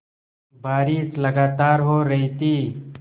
बारिश लगातार हो रही थी